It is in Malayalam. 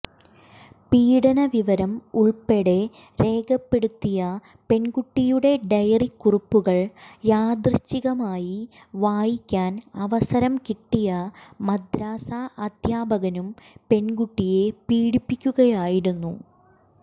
പീഡന വിവരം ഉൾപ്പെടെ രേഖപ്പെടുത്തിയ പെൺകുട്ടിയുടെ ഡയറിക്കുറിപ്പുകൾ യാദൃഛികമായി വായിക്കാൻ അവസരം കിട്ടിയ മദ്രസാ അധ്യാപകനും പെൺകുട്ടിയെ പീഡിപ്പിക്കുകയായിരുന്നു